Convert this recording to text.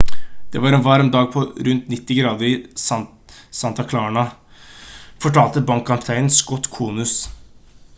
«det var en varm dag på rundt 90 grader i santa clara» fortalte brannkaptein scott kouns